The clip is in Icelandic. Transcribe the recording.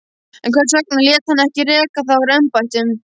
En hvers vegna lét hann ekki reka þá úr embættum?